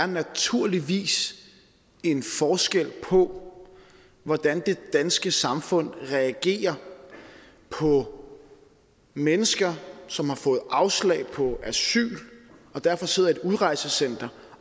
naturligvis er en forskel på hvordan det danske samfund reagerer på mennesker som har fået afslag på asyl og derfor sidder i et udrejsecenter